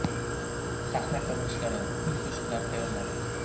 Sahna ko‘rinishlari, kuy-qo‘shiqlar tayyorlardik.